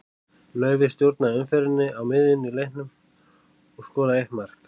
Laufey stjórnaði umferðinni á miðjunni í leiknum og skoraði eitt mark.